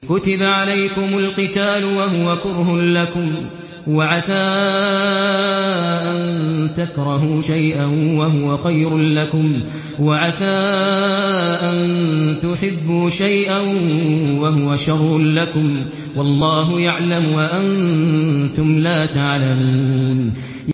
كُتِبَ عَلَيْكُمُ الْقِتَالُ وَهُوَ كُرْهٌ لَّكُمْ ۖ وَعَسَىٰ أَن تَكْرَهُوا شَيْئًا وَهُوَ خَيْرٌ لَّكُمْ ۖ وَعَسَىٰ أَن تُحِبُّوا شَيْئًا وَهُوَ شَرٌّ لَّكُمْ ۗ وَاللَّهُ يَعْلَمُ وَأَنتُمْ لَا تَعْلَمُونَ